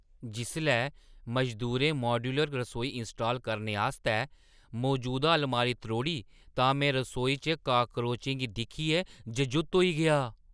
जिसलै मजदूरें माड्यूलर रसोई इंस्टाल करने आस्तै मजूदा अलमारी त्रोड़ी तां में रसोई च काक्रोचें गी दिक्खियै जजुत्त होई गेआ।